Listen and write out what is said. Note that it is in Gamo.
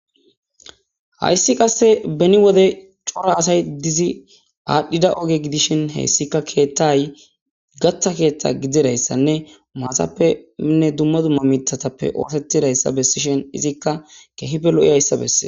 Hayssi qasse beni wode cora asay dizi aadhdhida oge gidishin heyssika keettay gaththa keeththa gididayssanne maathappenne dumma dumma miithatappe ootetidayssa bessishin izikka keehife lo7izayssa besse.